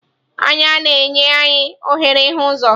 Anya na-enye anyị ohere ịhụ ụzọ.